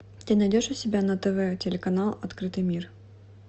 ты найдешь у себя на тв телеканал открытый мир